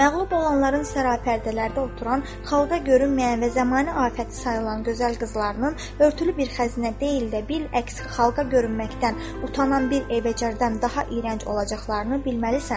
Məğlub olanların sərapərdələrdə oturan, xalqa görünməyən və zamani afəti sayılan gözəl qızlarının örtülü bir xəzinə deyil də, bil əks xalqa görünməkdən utanan bir evecərdən daha iyrənc olacaqlarını bilməlisən.